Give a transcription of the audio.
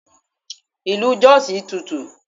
Ilu Jos tutù.